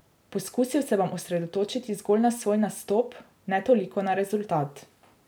Poskusil se bom osredotočiti zgolj na svoj nastop, ne toliko na rezultat.